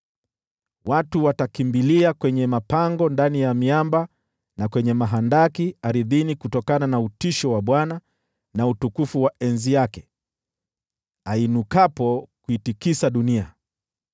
Watu watakimbilia kwenye mapango ndani ya miamba, na kwenye mahandaki ardhini kutokana na utisho wa Bwana na utukufu wa enzi yake, ainukapo kuitikisa dunia.